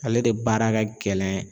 Ale de baara ka gɛlɛn